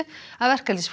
af